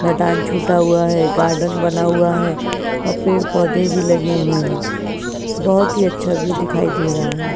मैदान छुटा हुआ है गार्डन बना हुआ है और पेड़ पौधे भी लगे हुए है बहुत ही अच्छा व्यू दिखाई दे रहा है।